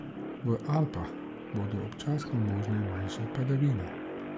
V Alpah bodo občasno možne manjše padavine.